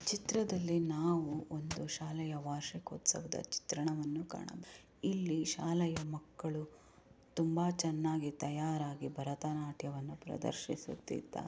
ಈ ಚಿತ್ರದಲ್ಲಿ ನಾವು ಒಂದು ಶಾಲೆಯ ವಾರ್ಷಿಕೋತ್ಸವದ ಚಿತ್ರವನ್ನು ಕಾಣಬಹುದು ಇಲ್ಲಿ ಶಾಲೆಯ ಮಕ್ಕಳು ತುಂಬಾ ಚೆನ್ನಾಗಿ ತಯಾರಾಗಿ ಭರತನಾಟ್ಯವನ್ನು ಪ್ರದರ್ಶಿಸುತ್ತಿದ್ದಾರೆ.